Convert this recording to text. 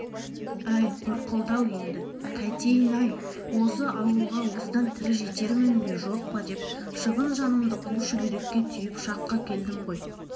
әй қор қылды-ау енді қайтейін-ай осы ауылға осыдан тірі жетермін бе жоқ па деп шыбын жанымды қу шүберекке түйіп шаққа келдім ғой